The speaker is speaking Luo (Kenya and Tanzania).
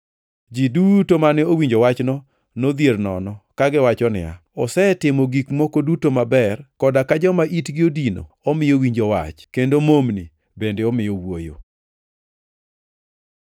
Ji duto mane owinjo wachno nodhier nono kagiwacho niya, “Osetimo gik moko duto maber, koda ka joma itgi odino omiyo winjo wach, kendo momni bende omiyo wuoyo.”